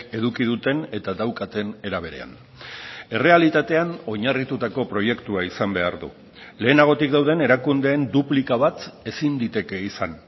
eduki duten eta daukaten era berean errealitatean oinarritutako proiektua izan behar du lehenagotik dauden erakundeen duplika bat ezin liteke izan